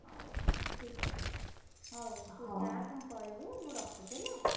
ହଉ ହଉ ଠିକ୍ ଅଛି, ହଉ ତୁ ଯା କଣ କରିବୁ? ମୁଁ ରଖୁଛି ହେଲା!